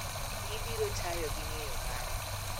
Ibiro tayo gi ng�eyo mara